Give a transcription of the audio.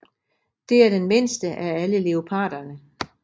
Det er den mindste af alle leoparderne